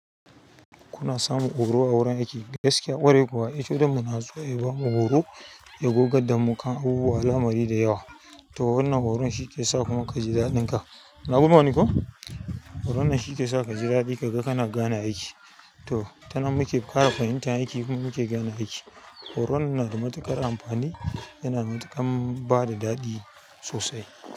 Kuna samun horo a wurin aiki, gaskiya kwarai kuwa? Eh, to don muna so a yi bamu horo, ya gogar da mu kan abubuwa lamari da yawa. To wannan horon shi ke sa kuma ka ji daɗin ka. Na guman ko? Horon nan shi ke sa ka ji daɗi ka ga kana gane aiki. To, ta nan muke ƙara fahimtar aiki kuma muke gane aiki. Horon nan na da matuƙar amfani yana matuƙar ba da daɗi sosai.